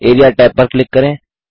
area tab पर click करें